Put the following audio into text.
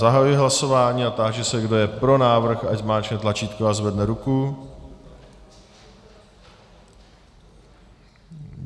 Zahajuji hlasování a táži se, kdo je pro návrh, ať zmáčkne tlačítko a zvedne ruku.